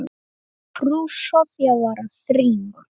Frú Soffía var að þrífa.